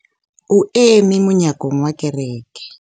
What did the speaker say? o eme monyakong wa kereke